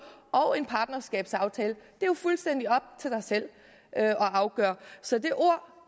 og en partnerskabsaftale det er jo fuldstændig op til dig selv at afgøre så det ord